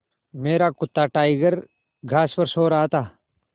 मेरा कुत्ता टाइगर घास पर सो रहा था